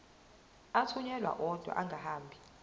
athunyelwa odwa angahambi